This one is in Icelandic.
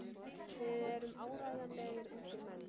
Við erum áreiðanlegir ungir menn.